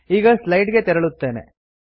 ಈಗ ಸ್ಲೈಡ್ ಗೆ ತೆರಳುತ್ತೇನೆ